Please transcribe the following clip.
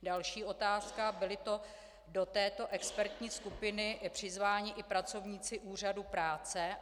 Další otázka: Byli to do této expertní skupiny přizváni i pracovníci úřadu práce?